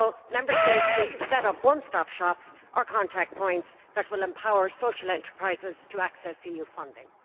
Member States also need to set up one stop shops, or contact points, that will empower social enterprises to access EU funding.